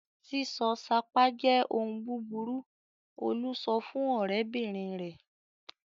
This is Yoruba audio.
"Sísọ sápá jẹ́ ohun búburú!" Olú sọ fún ọ̀rẹ́bìnrin rẹ̀!